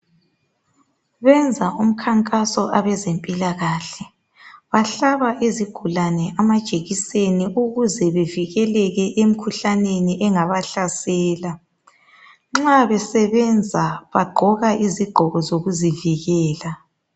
Benza umkhankaso abezempilakahle, bahlaba izigulane amajekiseni ukuze bevikeleke emikhuhlaneni engabahlasela. Nxa besebenza bagqoka izigqoko zokuzivikela.